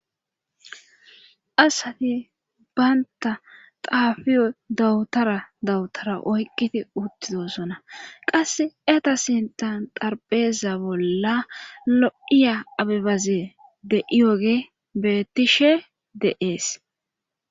Asati baynta xaafiyo dawutara dawutara oyqqiti uttidosona qasse eta sintan tarpeeza bolla lo7iya abibaze de7iyoge bettishe de7ees.